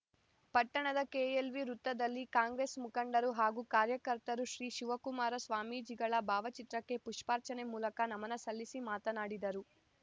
ಪಟ್ಟಣದ ಕೆಎಲ್‌ವಿ ವೃತ್ತದಲ್ಲಿ ಕಾಂಗ್ರೆಸ್‌ ಮುಖಂಡರು ಹಾಗೂ ಕಾರ್ಯಕರ್ತರು ಶ್ರೀ ಶಿವಕುಮಾರ ಸ್ವಾಮೀಜಿಗಳ ಭಾವಚಿತ್ರಕ್ಕೆ ಪುಷ್ಪಾರ್ಚನೆ ಮೂಲಕ ನಮನ ಸಲ್ಲಿಸಿ ಮಾತನಾಡಿದರು